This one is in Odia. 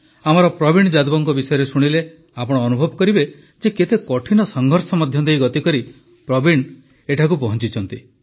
ଆମର ପ୍ରବୀଣ ଯାଦବଙ୍କ ବିଷୟରେ ଶୁଣିଲେ ଆପଣ ଅନୁଭବ କରିବେ ଯେ କେତେ କଠିନ ସଂଘର୍ଷ ମଧ୍ୟ ଦେଇ ଗତିକରି ପ୍ରବୀଣ ଜୀ ଏଠାକୁ ପହଞ୍ଚିଛନ୍ତି